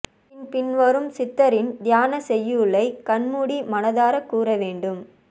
பின் பின்வரும் சித்தரின் தியானச் செய்யுளை கண்மூடி மனதார கூற வேண்டும்